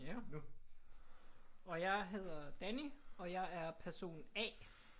Og jeg hedder Danny og jeg er person A